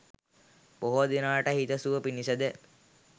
බොහෝ දෙනාට හිතසුව පිණිස ද